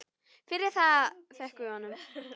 Fyrir það þökkum við honum.